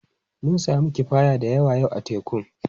Mun sami kifaya da yawa yau a tekun.